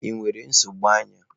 Ị nwere nsogbu anya?